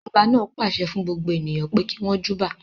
Ọba náà pàṣẹ fún gbogbo ènìyàn pé kí wọn júbà.